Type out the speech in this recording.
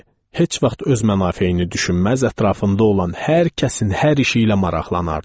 Heç vaxt öz mənafeyini düşünməz, ətrafında olan hər kəsin, hər işi ilə maraqlanardı.